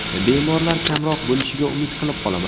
Bemorlar kamroq bo‘lishiga umid qilib qolaman.